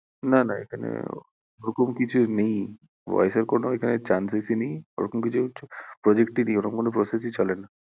না না এখানে, ওরম কিছু নেই voice এর কোনো এখানে chances ই নেই ওরকম কিছু project ই নেই ওরকম কোনো process ই চলেনা